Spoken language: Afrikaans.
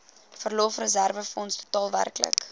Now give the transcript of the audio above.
verlofreserwefonds totaal werklik